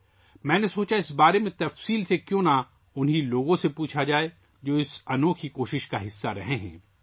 میں نے سوچا کہ کیوں نہ اس بارے میں ان لوگوں سے تفصیل سے پوچھا جائے ، جو اس انوکھی کوشش کا حصہ رہے ہیں